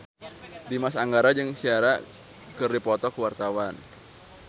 Dimas Anggara jeung Ciara keur dipoto ku wartawan